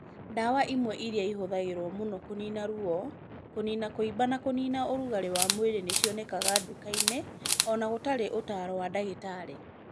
Ndawa imwe iria ihũthagĩrũo mũno kũniina ruo, kũniina kũimba na kũniina ũrugarĩ wa mwĩrĩ nĩ cionekaga nduka-inĩ o na gũtarĩ ũtaaro wa ndagĩtarĩ.